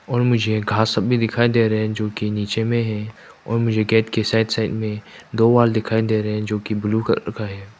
और मुझे घास सब भी दिखाई दे रहे है जो की नीचे मे है और मुझे गेट के साइड साइड मे दो वॉल दिखाई दे रहे है जोकि ब्ल्यू कलर का है।